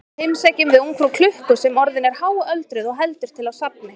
Þá heimsækjum við ungfrú klukku sem orðin er háöldruð og heldur til á safni.